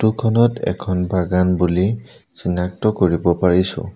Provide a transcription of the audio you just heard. Photo খনত এখন বাগান বুলি চিনাক্ত কৰিব পাৰিছোঁ।